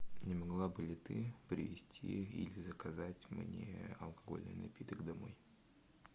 не могла бы ли ты привезти или заказать мне алкогольный напиток домой